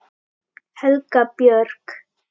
Helga Björk.